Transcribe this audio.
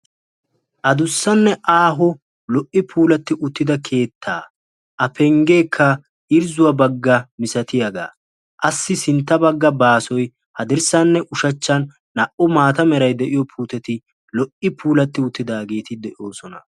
Adussanne aaho lo''i puulatti uttida keettaa A penggeekka irzzuwa baggaa misattiyaagaa assi sintta bagga baazzan hadirssanne ushachchan naa'u maata meray de'iyo puuteti lo''i puulatti uttaageeti de'oosona.